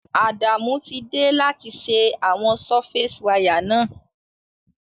Adamu ti de láti se àwon surface wire náà